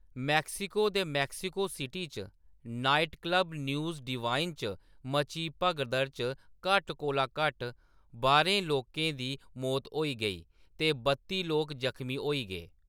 Mexico दे Mexico city च nightclub News Divine च मची भगदड़ च घट्ट कोला घट्ट बारें लोकें दी मौत होई गेई ते बत्ती लोक जखमी होई गे।